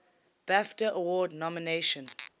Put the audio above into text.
bafta award nomination